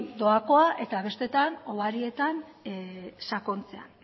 doakoa eta besteetan hobarietan sakontzea